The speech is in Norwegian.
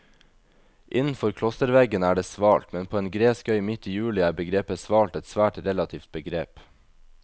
Innenfor klosterveggene er det svalt, men på en gresk øy midt i juli er begrepet svalt et svært relativt begrep.